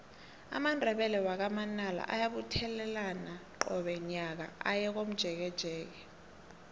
amandebele wakwa manala ayabuthelana qobe nyaka aye komjekejeke